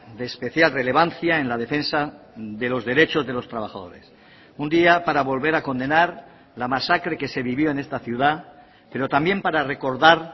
de especial relevancia en la defensa de los derechos de los trabajadores un día para volver a condenar la masacre que se vivió en esta ciudad pero también para recordar